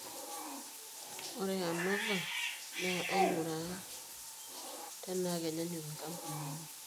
ore ANOVA naa aing'uraa tenaa kenyaanyuk inkampunini.